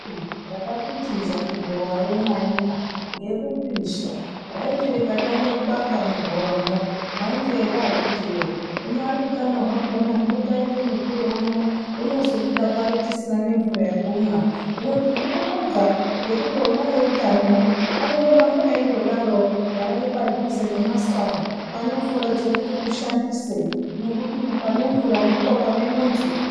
Takakutiza kugowayo maina ngekupisha raiti rikatange kubaka mugowamwo mwait ere akiti woye unyari utano hwakona, hino taite mutsvire uno unozobuda pari tisina nemvura yekumwa, hino tinondobonga nekuti ona eutanowo, anondoramba eindodaro garai pandhuze nemasaa, pane mvura dzekuti mushandise nekuti panemvura ndipo pane muntu.